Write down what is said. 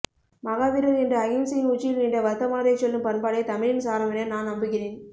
மகாவீரர் என்று அகிம்சையின் உச்சியில் நின்ற வர்த்தமானரைச் சொல்லும் பண்பாடே தமிழின் சாரமென நான் நம்புகிறேன்